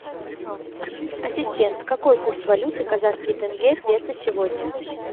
ассистент какой курс валюты казахский тенге песо сегодня